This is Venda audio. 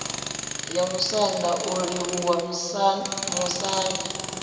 ya musanda u livhuwa vhamusanda